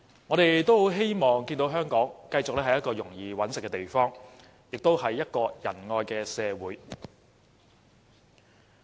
我們希望看見香港繼續是一個容易謀生的地方，也是一個仁愛的社會。